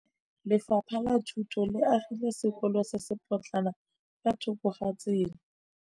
Lefapha la Thuto le agile sekôlô se se pôtlana fa thoko ga tsela.